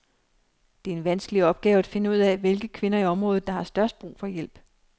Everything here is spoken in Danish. Det er en vanskelig opgave at finde ud af, hvilke kvinder i området der har størst brug for hjælp.